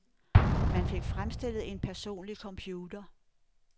Man fik fremstillet en personlig computer.